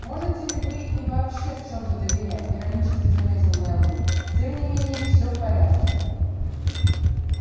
можете ли вы им вообще в чем-то доверять иронически заметил мэллоу тем не менее все в порядке